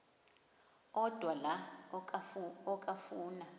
odwa la okafuna